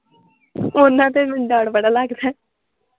ਓਹਨ ਤੇ ਤੇ ਮੈਨੂੰ ਡਰ ਬੜਾ ਲਗਦਾ ਹੈ।